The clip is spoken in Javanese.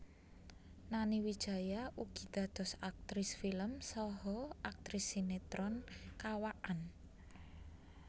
Nani Wijaya ugi dados aktris film saha aktris sinetron kawakan